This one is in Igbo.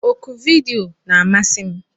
Oku vidiyo na-amasị m.